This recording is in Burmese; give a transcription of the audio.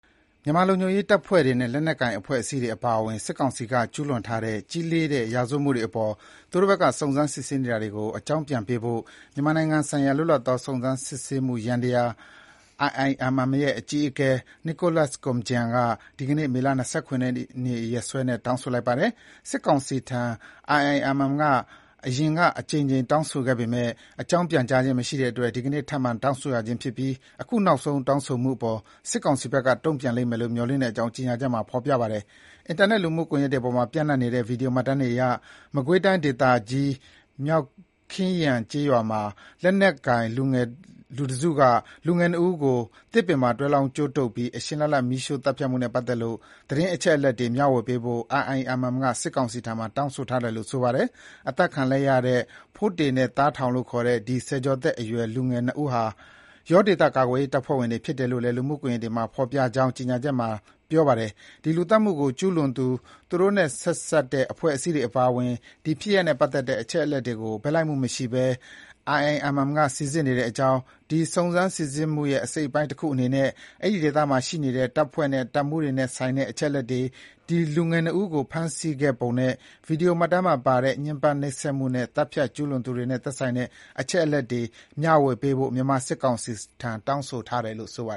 မြန်မာလုံခြုံရေးတပ်ဖွဲ့တွေနဲ့ လက်နက်ကိုင်အဖွဲ့အစည်းတွေအပါအဝင် စစ်ကောင်စီက ကျူးလွန်ထားတဲ့ ကြီးလေးတဲ့ ရာဇဝတ်မှုတွေအပေါ် သူတို့ဘက်က စုံစမ်းနေတာတွေကို အကြောင်းပြန်ပေးဖို့ မြန်မာနိုင်ငံဆိုင်ရာ လွတ်လပ်သော စုံစမ်းစစ်ဆေးမှုယန္တရား IIMM ရဲ့ အကြီးအကဲ Nicholas Koumjian က ဒီကနေ့ မေလ ၂၇ ရက်နေ့ ရက်စွဲနဲ့ တောင်းဆိုလိုက်ပါတယ်။ စစ်ကောင်စီထံ IIMM အရင်က အကြိမ်ကြိမ် တောင်းဆိုခဲ့ပေမယ့် အကြောင်းပြန်ကြားခြင်းမရှိတဲ့အတွက် ဒီကနေ့ ထပ်မံတောင်းဆိုရခြင်းဖြစ်ပြီး အခုနောက်ဆုံး တောင်းဆိုမှုအပေါ် စစ်ကောင်စီဘက်က တုံံ့ပြန်လိမ့်မယ်လို့ မျှော်လင့်ကြောင်း IIMM ရဲ့ ကြေညာချက်မှာ ဖော်ပြထားပါတယ်။ အင်တာနက် လူမှုကွန်ယက်တွေပေါ်မှာ ပြန့်နှံ့နေတဲ့ ဗွီဒီယိုမှတ်တမ်းတွေအရ မကွေးတိုင်းဒေသကြီး၊ မြောက်ခင်ရန်း ကျေးရွာမှာ လက်နက်ကိုင် လူတစုက လူငယ် ၂ ဦးကို သစ်ပင်မှာတွဲလောင်းကြိုးတုပ်ပြီး အရှင်လတ်လတ် မီးရှို့သတ်ဖြတ်မှုနဲ့ပတ်သက်လို့ သတင်းအချက်အလက်တွေ မျှဝေပေးဖို့ IIMM က စစ်ကောင်စီထံမှာ တောင်းဆိုထားတယ်လို့ ဆိုပါတယ်။ အသတ်ခံလိုက်ရတဲ့ ဖိုးတေနဲ့ သားထောင် လို့ခေါ်တဲ့ ဒီ ဆယ်ကျော်သက်အရွယ် လူငယ် ၂ ဦးဟာ ယောဒေသကာကွယ်ရေးတပ်ဖွဲ့ဝင်တွေ ဖြစ်တယ်လို့လည်း လူမှုကွန်ယက်တွေမှာ ဖော်ပြကြောင်း IIMM ရဲ့ ကြေညာချက်မှာ ဖော်ပြပါတယ်။ ဒီ လူသတ်မှုကို ကျူးလွန်သူ၊ သူတို့နဲ့ ဆက်စပ်တဲ့အဖွဲ့အစည်းတွေအပါအဝင် ဒီ ဖြစ်ရပ်နဲ့ပတ်သက်တဲ့ အချက်အလက်တွေကို ဘက်လိုက်မှုမရှိဘဲ IIMM က စိစစ်နေကြောင်း၊ ဒီ စုံစမ်း စိစစ်မှုရဲ့ အစိတ်အပိုင်းတခုအနေနဲ့ အဲဒီဒေသမှာရှိနေတဲ့ တပ်ဖွဲ့နဲ့ တပ်မှူးတွေနဲ့ဆိုင်တဲ့ အချက်အလက်တွေ၊ ဒီ လူငယ် ၂ ဦးကို ဖမ်းဆီးခဲ့ပုံနဲ့ ဗွီဒီယိုမှတ်တမ်းမှာပါတဲ့ ညှဉ်းပန်းနှိပ်စက်မှုနဲ့ သတ်ဖြတ်မှုကျူးလွန်သူတွေနဲ့သက်ဆိုင်တဲ့ အချက်အလက်တွေ မျှဝေပေးဖို့ မြန်မာ စစ်ကောင်စီထံ တောင်းဆိုထားတယ်လို့ ဆိုပါ